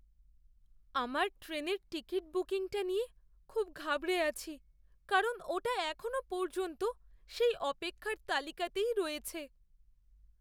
আমার ট্রেনের টিকিট বুকিংটা নিয়ে খুব ঘাবড়ে আছি, কারণ ওটা এখনও পর্যন্ত সেই অপেক্ষার তালিকাতেই রয়েছে।